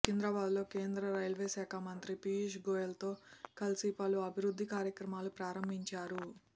సికింద్రాబాద్లో కేంద్ర రైల్వే శాఖ మంత్రి పీయూష్ గోయల్తో కలిసి పలు అభివృద్ధి కార్యక్రమాలను ప్రారంభించారు